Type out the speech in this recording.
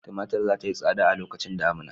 Tumatur za ta yi tsada a lokacin damina.